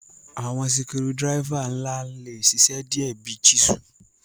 Awọn sikudiraifa nla le ṣiṣẹ diẹ bi chisel